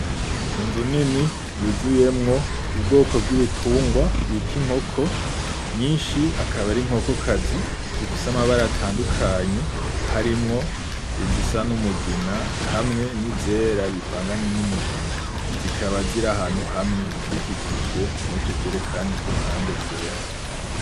Inzu nini yuzuyemwo ubwoko bwitungwa bita inkoko. nyinshi ni inkoko kazi zifise amabara atandukanye harimwo izisa n'umugina izindi hamwe n'izera bivanganye numuginaq. Zikaba ziri ahantu hamwe zikikijwe n'utujeri kuruhande twera.